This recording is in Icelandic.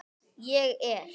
Ég er.